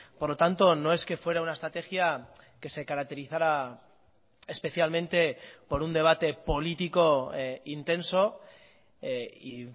por lo tanto no es que fuera una estrategia que se caracterizara especialmente por un debate político intenso y